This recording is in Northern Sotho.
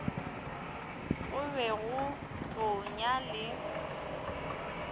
go be go tonya le